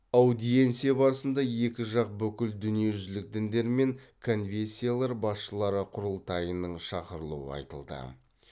аудиенция барысында екі жақ бүкіл дүниежүзілік діндер мен конфессиялар басшылары құрылтайының шақырылуы айтылды